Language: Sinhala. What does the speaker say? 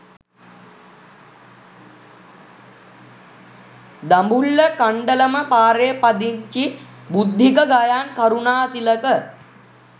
දඹුල්ල කණ්ඩලම පාරේ පදිංචි බුද්ධික ගයාන් කරුණාතිලක